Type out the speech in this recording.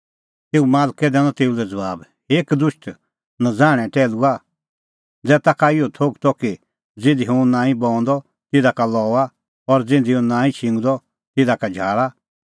तेऊए मालकै दैनअ तेऊ लै ज़बाब हे कदुष्ट नज़ाहणै टैहलूआ ज़ै ताखा इहअ थोघ त कि ज़िधी हुंह नांईं बऊंदअ तिधा का लऊआ और ज़िधी हुंह नांईं छिंगदअ तिधा का झाल़ा